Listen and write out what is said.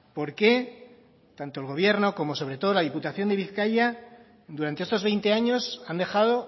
por qué tanto el gobierno como sobre todo la diputación de bizkaia durante estos veinte años han dejado